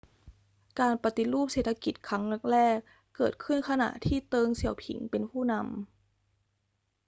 การปฏิรูปเศรษฐกิจครั้งแรก ๆ เกิดขึ้นขณะที่เติ้ง เสี่ยวผิงเป็นผู้นำ